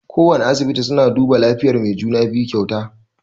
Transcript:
Kowana asibiti suna duba lafiyan mai juna-biyu kyauta.